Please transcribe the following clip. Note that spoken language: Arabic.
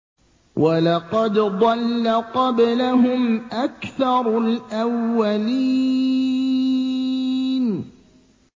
وَلَقَدْ ضَلَّ قَبْلَهُمْ أَكْثَرُ الْأَوَّلِينَ